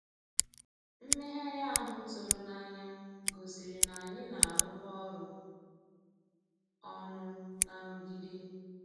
Mmèghàrị́ ahụ́ tụ̀rụ̀ n'ànyá gosìrí ná ànyị́ ná-àrụ́kọ ọ́rụ́ ọnụ́ ná nrụ̀gídé.